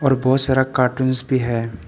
और बहोत सारा कार्टूंस भी है।